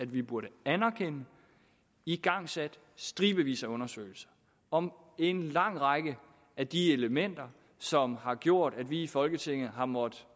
vi burde anerkende igangsat stribevis af undersøgelser om en lang række af de elementer som har gjort at vi i folketinget har måttet